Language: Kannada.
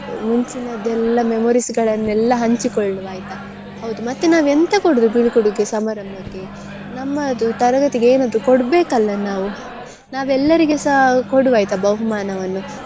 ಮುಂಚಿನದೆಲ್ಲ memories ಗಳನ್ನೆಲ್ಲ ಹಂಚಿಕೊಳ್ಳುವ ಆಯ್ತಾ ಹೌದು ಮತ್ತೆ ನಾವು ಎಂತ ಕೊಡುವುದು ಬೀಳ್ಕೊಡುಗೆ ಸಮಾರಂಭಕ್ಕೆ ನಮ್ಮದು ತರಗತಿಗೆ ಏನಾದ್ರೂ ಕೊಡ್ಬೇಕಲ್ಲ ನಾವು ನಾವೆಲ್ಲರಿಗೆಸ ಕೊಡುವ ಆಯ್ತಾ ಬಹುಮಾನವನ್ನು.